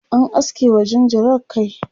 an aske wa jinjirar kai